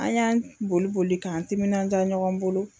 An y'an boli boli k'an timinandia ɲɔgɔn bolo.